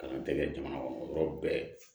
Kalan tɛ kɛ jamana kɔnɔ yɔrɔ bɛɛ